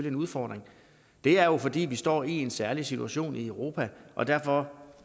en udfordring det er jo fordi vi står i en særlig situation i europa og derfor